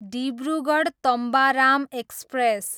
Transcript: Dibrugarh, Tambaram express